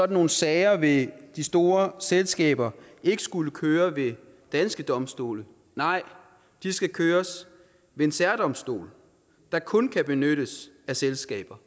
nogle sager vil de store selskaber ikke skulle køre ved danske domstole nej de skal køres ved en særdomstol der kun kan benyttes af selskaber